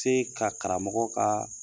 Te ka karamɔgɔ ka